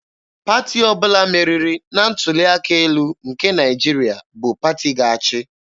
Pati ọbụla meriri na ntuli aka elu nke Naịjirịa bụ pati ga-achị.